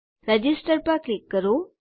register પર click કરો